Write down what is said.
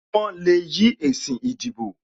Wọn le yí èsì ìdìbò